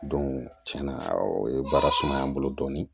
tiɲɛna o ye baara sumaya n bolo dɔɔnin